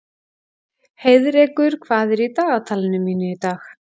Heiðrekur, hvað er í dagatalinu mínu í dag?